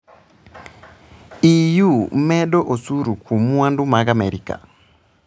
EU medo osuru kuom mwandu mag Amerka